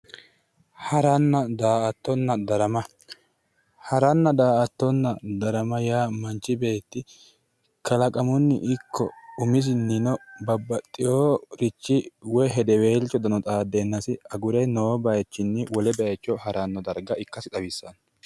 haranna daa'attonna darama haranna daa'attonna darama yaa manchi beeti kalaqamunni ikko kalaqamunnino babbaxeworichi woy hedewelcho xaaddeennasi agure noo baychino haranno baycho ikkasi xawissanno